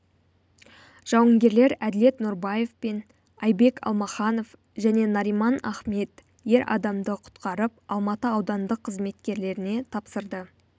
жауынгерлер әділет нұрбаев пен айбек алмаханов және нариман ахмет ер адамды құтқарып алматы аудандық қызметкерлеріне тапсырды